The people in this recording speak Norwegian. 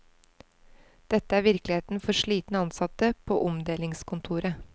Dette er virkeligheten for slitne ansatte på omdelingskontoret.